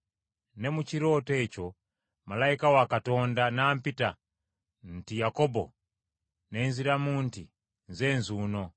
Ne mu kirooto ekyo malayika wa Katonda n’ampita nti, ‘Yakobo.’ Ne nziramu nti, ‘Nze nzuuno.’